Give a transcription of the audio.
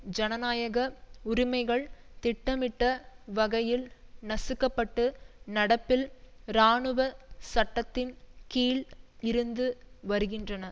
ஜனநாயக உரிமைகள் திட்டமிட்ட வகையில் நசுக்கப்பட்டு நடப்பில் இராணுவ சட்டத்தின் கீழ் இருந்து வருகின்றன